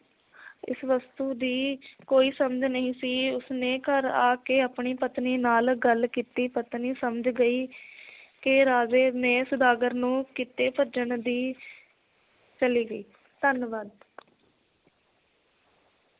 ਇਸ ਵਸਤੂ ਦੀ ਕੋਈ ਸਮਝ ਨਹੀ ਸੀ ਉਸਨੇ ਘਰ ਆ ਕੇ ਆਪਣੀ ਪਤਨੀ ਨਾਲ ਗੱਲ ਕੀਤੀ ਪਤਨੀ ਸਮਝ ਗਈ ਕਿ ਰਾਜੇ ਨੇ ਸੌਦਾਗਰ ਨੂੰ ਕਿਤੇ ਭੇਜਣ ਦੀ ਚਲੀ ਗਈ ਧੰਨਵਾਦ।